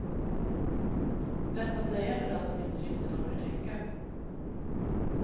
Lätt att säga för den som inte riktigt orkar tänka.